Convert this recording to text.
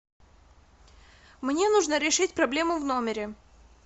мне нужно решить проблему в номере